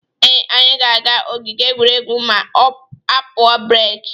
Ee, anyị ga-aga ogige egwuregwu ma a pụọ breki.